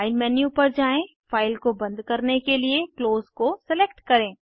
file menu पर जाएँ file को बंद करने के लिए क्लोज़ को सेलेक्ट करें